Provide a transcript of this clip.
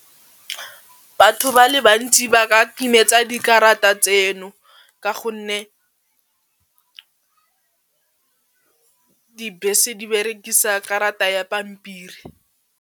Batho ba le ba ntši ba ka timetsa dikarata tseno ka gonne dibese di berekisa karata ya pampiri.